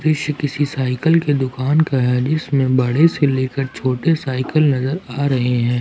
दृश्य किसी साइकिल की दुकान का है जिसमें बड़े से लेकर छोटे साइकिल नजर आ रहे हैं।